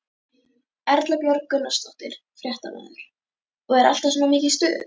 Erla Björg Gunnarsdóttir, fréttamaður: Og er alltaf svona mikið stuð?